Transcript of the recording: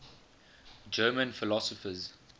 german philosophers